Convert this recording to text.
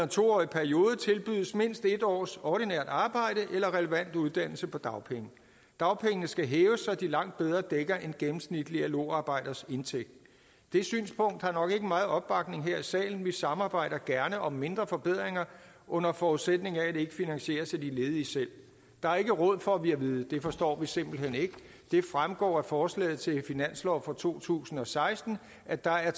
to årig periode tilbydes mindst en års ordinært arbejde eller relevant uddannelse på dagpenge dagpengene skal hæves så de langt bedre dækker en gennemsnitlig lo arbejders indtægt det synspunkt har nok ikke meget opbakning her i salen vi samarbejder gerne om mindre forbedringer under forudsætning af at det ikke finansieres af de ledige selv der er ikke råd får vi at vide det forstår vi simpelt hen ikke det fremgår af forslaget til finanslov for to tusind og seksten at der er